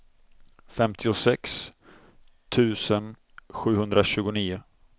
femtiosex tusen sjuhundratjugonio